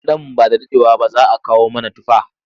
Nan ba da daɗewa ba za kawo mana tufa.